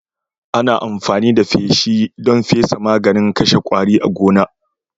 Ana amfani da feshi don fesa maganin kashe kwari a gona